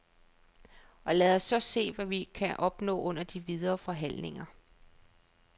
Og lad os så se, hvad vi kan opnå under de videre forhandlinger.